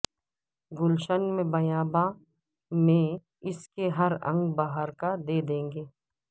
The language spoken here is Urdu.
گلشن میں بیاباں میں اسکے ہر انگ بہار کا دے دیں گے